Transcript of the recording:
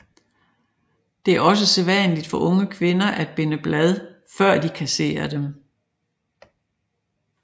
Det er også sædvanligt for unge kvinder at binde blad før de kasserer dem